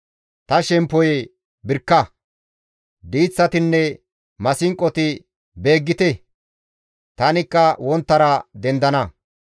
Ta shemppoyee birkka! Diiththatinne maasinqoti beeggite! Tanikka wonttara dendana.